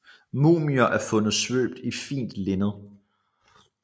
Mumier er fundet svøbt i fint linned